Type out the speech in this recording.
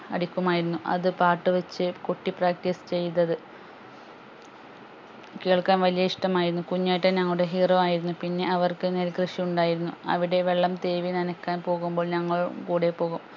അടിക്കുമായിരുന്നു അത് പാട്ട് വെച്ച് കൊട്ടി practice ചെയ്തത് കേൾക്കാൻ വലിയ ഇഷ്ട്ടം ആയിരുന്നു കുഞ്ഞേട്ടൻ ഞങ്ങളുടെ hero ആയിരുന്നു പിന്നെ അവർക്ക് നെൽ കൃഷി ഉണ്ടായിരുന്നു അവിടെ വെള്ളം തേവി നനക്കാൻ പോകുമ്പോൾ ഞങ്ങളും കൂടെ പോകും